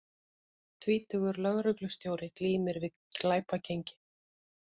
Tvítugur lögreglustjóri glímir við glæpagengi